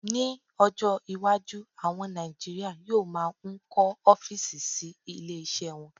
Ní ọjọ́ iwájú, àwọn Nàìjíríà yóò máà ń kọ́ ọ́físì sí ilé iṣẹ́ wọn